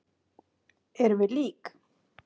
Erum við lík?